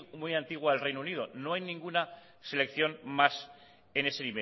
muy antigua del reino unido no hay ninguna selección más en ese